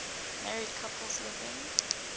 married couples living